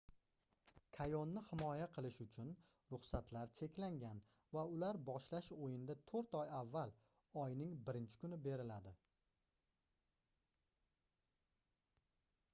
kayonni himoya qilish uchun ruxsatlar cheklangan va ular boshlash oyinda toʻrt oy avval oyning 1-kuni beriladi